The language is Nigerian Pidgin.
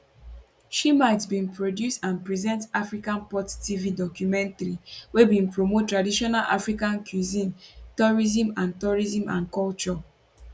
shimite bin produce and present african pot tv documentary wey bin promote traditional african cuisine tourism and tourism and culture